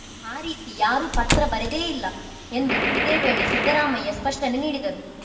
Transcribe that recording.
ಆ ರೀತಿ ಯಾರೂ ಪತ್ರ ಬರೆದೇ ಇಲ್ಲ ಎಂದು ಇದೇ ವೇಳೆ ಸಿದ್ದರಾಮಯ್ಯ ಸ್ಪಷ್ಟನೆ ನೀಡಿದರು